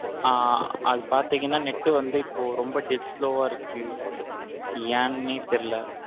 ஆஹ் அது பாத்திங்கனா net வந்து இப்போ ரொம்ப dead slow வா இருக்கு ஏன்னே தெரியல.